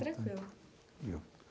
Tranquilo.